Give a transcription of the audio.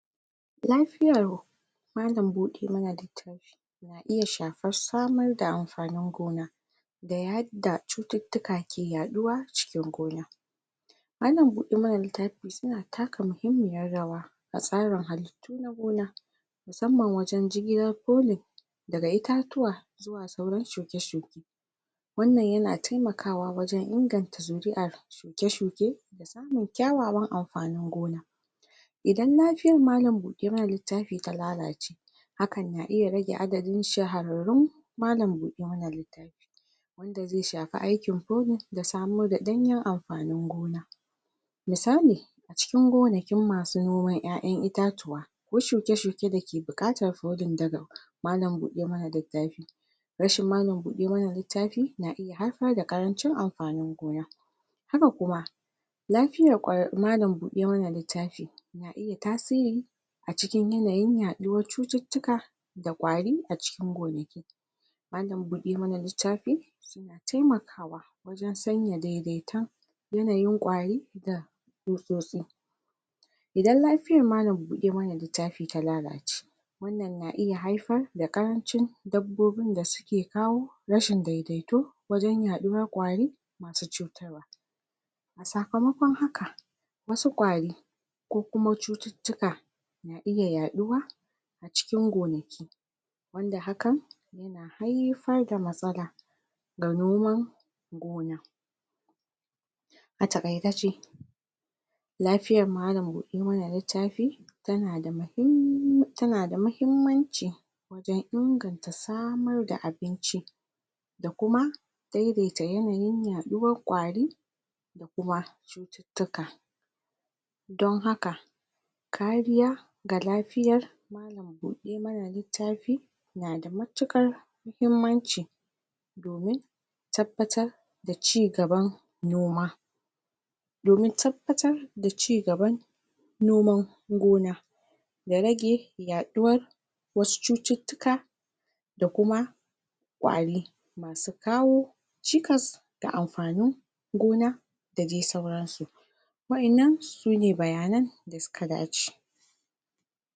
Lafiyar malam-buɗe-ma-na littafi na iya shafar samar da amfanin gona da yadda cututtuka ke yaɗuwa a cikin gona. Malam-buɗe-ma-na- littafi su na taka muhimmiyar rawa a tsarin halittu na gona, musamman wajen jigilar coline daga itatuwa da sauran shuke-shuke, wannan ya na taimakawa wajen inganta zuri'ar shuke-shuke da samun kyawawan amfanin gona. Idan lafiyar malam- buɗe-ma-na-littafi ta lalace hakan na iya rage adadin shahararrun malam-buɗe-ma-na-littafi, wanda zai shafi aikin poving da samar da ɗanyen amfanin gona misali: A cikin gonakin ma su noman 'ya'yan itatuwa, ko shuke-shuke da ke buƙatar poding daga malam-buɗe-ma-na-littafi, rashin malam-buɗe-ma-na-littafi na iya haifar da ƙarancin amfanin gona, haka kuma lafiyar malam-buɗe-ma-na-littafi na iya tasiri na iya tasiri a cikin yanayin yaɗuwar cututtuka da ƙwari a cikin gonaki, malam-buɗe-ma-na-littafi na taimakawa wajen sanya daidaiton yanayin ƙwari da tsutsotsi. Idan lafiyar malam-buɗe-ma-na-littafi ta lalace wannan na iya haifar da ƙarancin dabbobin da su ke kawo rashin daidaito wajen yaɗuwar ƙwari ma su cutarwa, a sakamakon haka wa su ƙwari ko kuma cututtuka na iya yaɗuwa a cikin gonaki, wanda hakan na haifar da matsala ga noman gona. A taƙaice dai lafiyar malam-buɗe-ma-na-littafi ta na da muhimm ta na da mahimmanci wajen inganta samar da abinci da kuma daidaita yanayin yaɗuwar ƙwari da kuma cututtuka, don haka kariya ga lafiyar malam-buɗe-ma-na-littafi na da matuƙar mahimmanci domin tabbatar da cigaban noma, domin tabbatar da cigaban noman noman gona, da rage yaɗuwar wasu cututtuka da kuma ƙwari ma su kawo cikas da amfanin gona da dai sauransu. waɗannan sune bayanan da su ka dace.